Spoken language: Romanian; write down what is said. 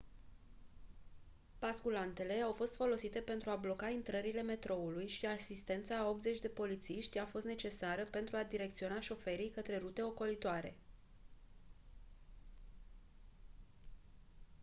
basculantele au fost folosite pentru a bloca intrările metroului și asistența a 80 de polițiști a fost necesară pentru a direcționa șoferii spre rute ocolitoare